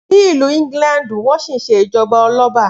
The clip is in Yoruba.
Ni ìlú ìgílàńdú, wọn si sẹ ìjọba ọlọbà